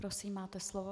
Prosím, máte slovo.